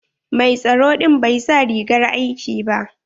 Mai tsaro ɗin bai sa rigar aiki ba.